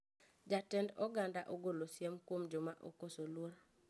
Jatend oganda ogolo siem kuom joma okoso luor